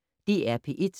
DR P1